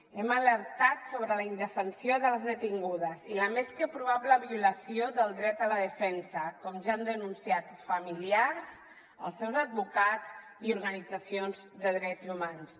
hem alertat sobre la indefensió de les detingudes i la més que probable violació del dret a la defensa com ja han denunciat familiars els seus advocats i organitzacions de drets humans